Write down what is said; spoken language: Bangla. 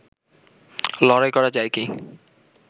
লড়াই করা যায় কি